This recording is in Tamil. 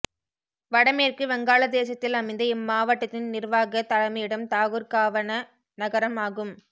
வடமேற்கு வங்காளதேசத்தில் அமைந்த இம்மாவட்டத்தின் நிர்வாகத் தலைமையிடம் தாகுர்காவ்ன் நகரம் ஆகும்